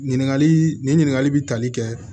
Ɲininkali nin ɲininkali bɛ tali kɛ